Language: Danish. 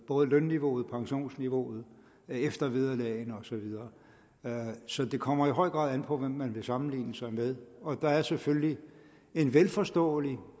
både lønniveauet pensionsniveauet eftervederlagene og så videre så det kommer i høj grad an på hvem man vil sammenligne sig med der er selvfølgelig en vel forståelig